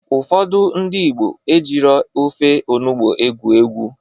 Ụfọdụ ndị Igbo ejiro ofe onugbo egwu egwu.